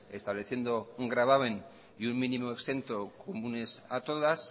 estableciendo un gravamen y un mínimo exento comunes a todas